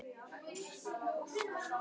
Hafði hann verið göfugri í þá daga?